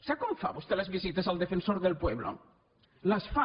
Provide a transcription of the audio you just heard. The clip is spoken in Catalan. sap com fa vostè les visites el defensor del pueblo les fa